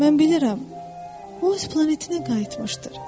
Mən bilirəm, o öz planetinə qayıtmışdır.